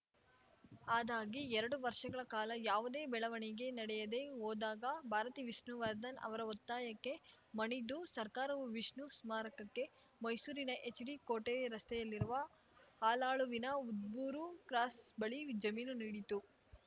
ಅದಾಗಿ ಎರಡು ವರ್ಷಗಳ ಕಾಲ ಯಾವುದೇ ಬೆಳವಣಿಗೆ ನಡೆಯದೇ ಹೋದಾಗ ಭಾರತಿ ವಿಷ್ಣುವರ್ಧನ್‌ ಅವರ ಒತ್ತಾಯಕ್ಕೆ ಮಣಿದು ಸರ್ಕಾರವು ವಿಷ್ಣು ಸ್ಮಾರಕಕ್ಕೆ ಮೈಸೂರಿನ ಎಚ್‌ಡಿ ಕೋಟೆ ರಸ್ತೆಯಲ್ಲಿರುವ ಹಾಲಾಳುವಿನ ಉದ್ಬೂರು ಕ್ರಾಸ್‌ ಬಳಿ ಜಮೀನು ನೀಡಿತ್ತು